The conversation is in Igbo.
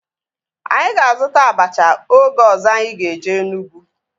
Anyị ga-azuta abacha oge ọzọ anyị ga-eje Enugwu